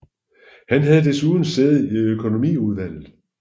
Han havde desuden sæde i økonomiudvalget